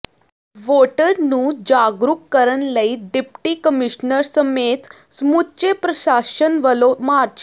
voter ਨੂੰ ਜਾਗਰੂਕ ਕਰਨ ਲਈ ਡਿਪਟੀ ਕਮਿਸ਼ਨਰ ਸਮੇਤ ਸਮੁੱਚੇ ਪ੍ਰਸ਼ਾਸ਼ਨ ਵੱਲੋਂ ਮਾਰਚ